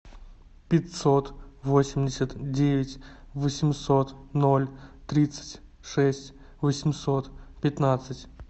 пятьсот восемьдесят девять восемьсот ноль тридцать шесть восемьсот пятнадцать